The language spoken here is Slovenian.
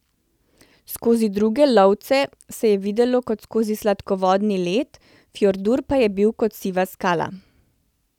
Skozi druge lovce se je videlo kot skozi sladkovodni led, Fjordur pa je bil kot siva skala.